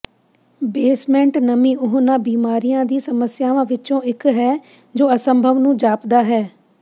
basement ਨਮੀ ਉਹਨਾਂ ਬਿਮਾਰੀਆਂ ਦੀ ਸਮੱਸਿਆਵਾਂ ਵਿੱਚੋਂ ਇੱਕ ਹੈ ਜੋ ਅਸੰਭਵ ਨੂੰ ਜਾਪਦਾ ਹੈ